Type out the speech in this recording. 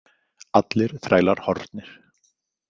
Allir þrælar horfnir.